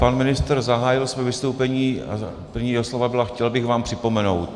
Pan ministr zahájil své vystoupení a první jeho slova byla "chtěl bych vám připomenout".